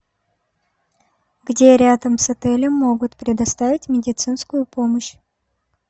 где рядом с отелем могут предоставить медицинскую помощь